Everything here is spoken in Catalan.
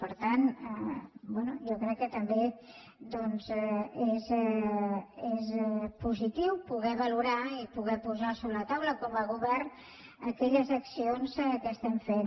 per tant bé jo crec que també doncs és positiu poder valorar i poder posar sobre la taula com a govern aquelles accions que estem fent